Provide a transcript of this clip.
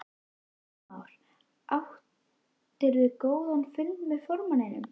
Heimir Már: Áttirðu góðan fund með formanninum?